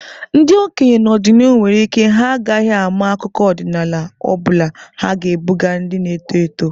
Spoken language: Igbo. Ndị okenye n'ọdịnihu nwere ike ha agaghị ama akụkọ ọdịnala ọ bụla ha ga-ebuga ndị na-eto eto.